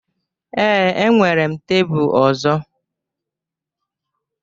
ee, enwere m tebụl ọzọ